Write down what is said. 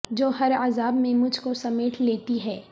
جو ہر عذاب میں مجھ کو سمیٹ لیتی ہیں